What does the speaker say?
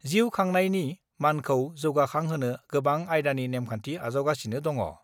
जिउ खांनायनि मानखौ जौगाखांहोनो गोबां आयदानि नेमखान्थि आजावगासिनो दङ।